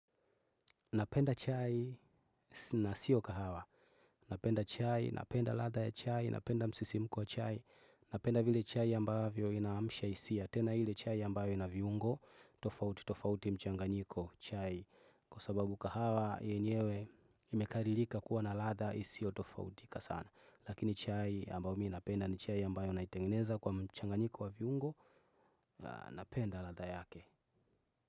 Napenda chai na siyo kahawa. Napenda chai, napenda ladha ya chai, napenda msisimko wa chai, napenda vile chai ambavyo inaamsha hisia. Tena hile chai ambayo ina viungo, tofauti mchanganyiko chai. Kwa sababu kahawa yenyewe imekaririka kuwa na ladha isio tofautika sana. Lakini chai ambayo mii napenda ni chai ambayo na itengeneza kwa mchanganyiko wa viungo, napenda ladha yake.